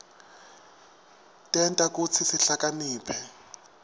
tenta kutsi sihlakaniphe